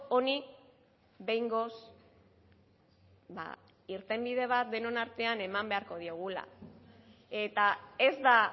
honi behingoz irtenbide bat denon artean eman beharko diogula eta ez da